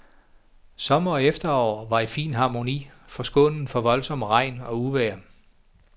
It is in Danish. Sommer og efterår var i fin harmoni, forskånet for voldsom regn og uvejr.